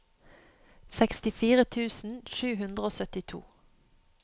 sekstifire tusen sju hundre og syttito